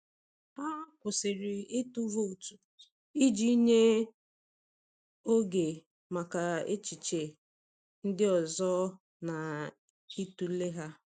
Ha kwụsịrị ịtụ vootu iji nye um oge maka echiche um ndị ọzọ na ịtụle ha.